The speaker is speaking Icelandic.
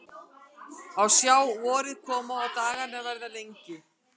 Að sjá vorið koma og dagana verða lengri.